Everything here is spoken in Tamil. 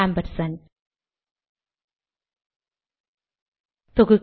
ஆம்பர்சாண்ட்